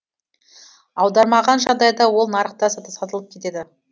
аудармаған жағдайда ол нарықта сатылып кетеді